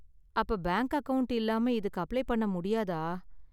அப்ப bank account இல்லாம இதுக்கு அப்ளை பண்ண முடியாதா?